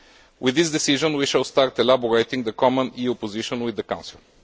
With this decision, we shall start elaborating the common EU position with the Council.